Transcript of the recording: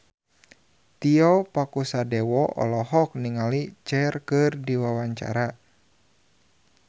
Tio Pakusadewo olohok ningali Cher keur diwawancara